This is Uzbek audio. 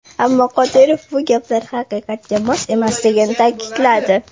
Ammo Qodirov bu gaplar haqiqatga mos emasligini ta’kidladi.